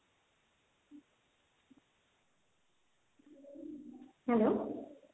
hello,